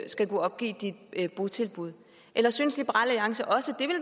skal kunne opgive dit botilbud eller synes liberal alliance også